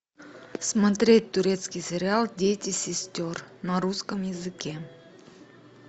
смотреть турецкий сериал дети сестер на русском языке